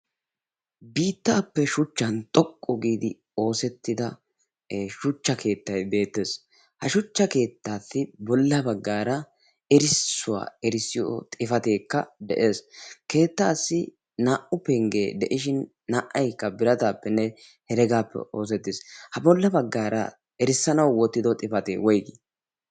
Biittaappe shuchchan xoqqu giidi oosettida shuchcha keettay beettees. ha shuchcha keettaassi bolla baggaara erissuwaa erissiyo xifateekka de'ees. keettaassi naa"u penggee de'ishin naa"aykka birataappenne heregaappe oosettees ha bolla baggaara erissanau wottido xifatee woygii?